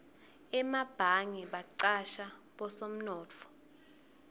emabhange bacasha bosomnotfo